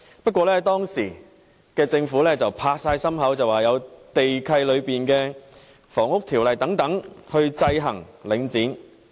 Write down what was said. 不過，當時政府拍心口說，有地契和《房屋條例》等去制衡領匯。